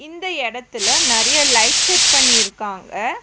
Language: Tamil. இந்த எடத்துல நெறைய லைட் செட் பண்ணிருக்காங்க.